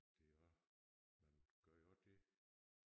Det er også man gør jo også det